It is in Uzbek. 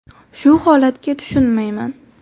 Shu holatga tushunmayman.